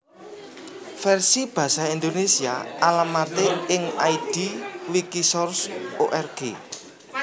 Versi basa Indonésia alamaté ing id wikisource org